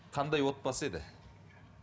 қандай отбасы еді